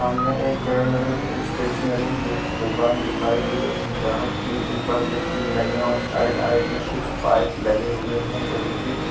सामने एक stationery book दुकान दिखाई दे रही है जहाँ टीन ऊपर मे टीन लगे हैं और साइड आइड में कुछ पाइप लगे हुए हैं लोहे के।